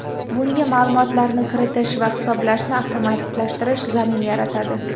Bunga ma’lumotlarni kiritish va hisoblashni avtomatlashtirish zamin yaratadi.